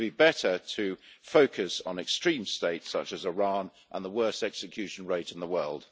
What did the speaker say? It would be better to focus on extreme states such as Iran and the worst execution rate in the world.